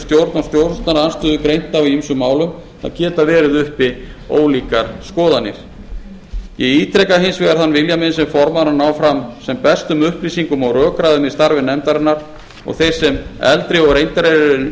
og stjórnarandstöðu greint á í ýmsum málum það geta verið uppi ólíkar skoðanir ég ítreka hins vegar þann vilja minn sem formaður að ná fram sem bestum upplýsingum og rökræðum í starfi nefndarinnar og þeir sem eldri og reyndari eru